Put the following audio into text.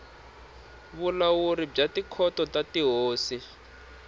vulawuri bya tikhoto ta tihosi